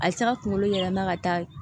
A bɛ se ka kunkolo yɛlɛma ka taa